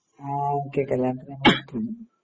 ആ ഓക്കേക്കേ കല്യാണത്തിന് ഞങ്ങളെത്തും